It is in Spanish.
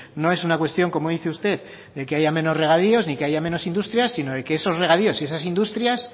no es una cuestión como dice usted de que haya menos regadíos y de que haya menos industria sino de que esos regadíos y esas industrias